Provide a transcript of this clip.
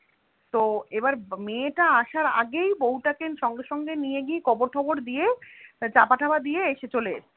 তো এবার মেয়েটা আসার আগেই বউটাকে সঙ্গে সঙ্গে নিয়ে গিয়ে কবর টবর দিয়ে চাপা টাপা দিয়ে এসে চলে এসেছে.